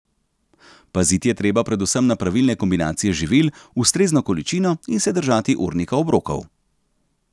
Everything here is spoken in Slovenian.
Paziti je treba predvsem na pravilne kombinacije živil, ustrezno količino in se držati urnika obrokov.